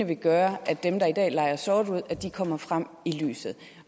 vil gøre at dem der i dag udlejer sort kommer frem i lyset